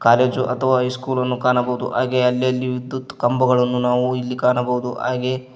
college ಅಥವಾ ಹೈಸ್ಕೂಲನ್ನು ಕಾಣಬೋದು ಹಾಗೆ ಅಲೆಲ್ಲಿ ವಿದ್ಯುತ್ ಕಂಬಗಳನ್ನು ನಾವು ಇಲ್ಲಿ ಕಾಣಬೋದು ಹಾಗೆ--